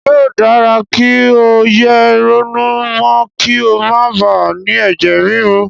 Yóò dára kí o yé ronú mọ́ kí o máa bà á ni ẹ̀jẹ̀ ríru.